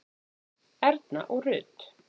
Erna og Rut.